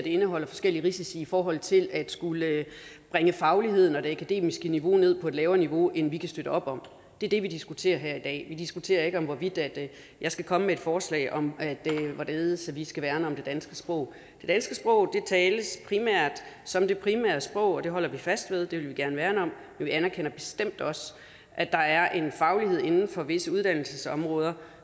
indeholder forskellige risici i forhold til at bringe fagligheden og det akademiske niveau ned på et lavere niveau end socialdemokratiet kan støtte op om det er det vi diskuterer her i dag vi diskuterer ikke hvorvidt jeg skal komme med forslag om hvorledes vi skal værne om det danske sprog det danske sprog tales som det primære sprog og det holder vi fast ved og det vil vi gerne værne om men vi anerkender bestemt også at der er en faglighed inden for visse uddannelsesområder